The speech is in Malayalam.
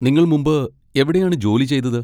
നിങ്ങൾ മുമ്പ് എവിടെയാണ് ജോലി ചെയ്തത്?